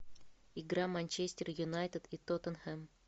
игра манчестер юнайтед и тоттенхэм